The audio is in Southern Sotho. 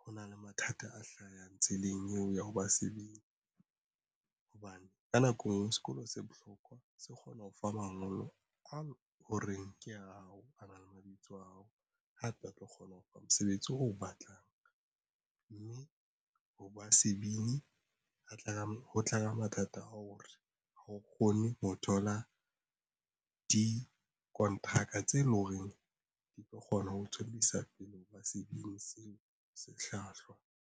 ho na le mathata a hlahang tseleng eo ya ho ba sebini hobane ka nako sekolo se bohlokwa se kgona ho fa mangolo a ho reng ke hao na le mabitso a hao hape a tlo kgona ho fa mosebetsi o batlang mme ho ba sebini a tla ho tlaba mathata ao re ho kgone ho thola dikonteraka tse leng hore di tlo kgona ho tswellisa pele ho ba sebini seo sehlwahlwa.